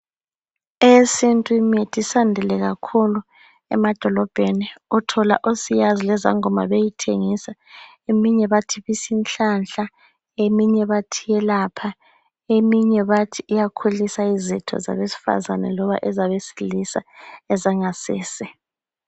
Eyesintu imithi isiyandile kakhulu emadolobheni. Uthola osiyazi lezangoma beyithengisa. Eminye bathi ibisinhlanhla, eminye bathi iyelapha, eminye bathi iyakhulisa izitho zabesifazane loba ezabesilisa ezangasese.